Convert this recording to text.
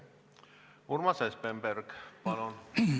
Urmas Espenberg, palun!